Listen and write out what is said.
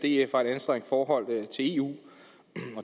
df har et anstrengt forhold til eu og